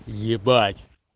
ебать